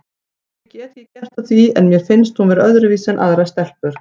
Ég get ekki gert að því en mér finnst hún vera öðruvísi en aðrar stelpur.